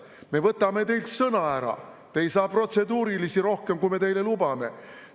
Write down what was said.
Me võtame teilt sõna ära, te ei saa protseduurilisi rohkem, kui me teile lubame.